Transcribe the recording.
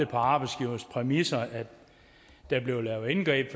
på arbejdsgivernes præmisser der bliver lavet indgreb